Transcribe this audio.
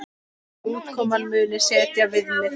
Útkoman muni setja viðmið.